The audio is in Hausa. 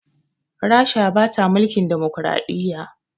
Rasha bata mulkin dimukuraɗiyya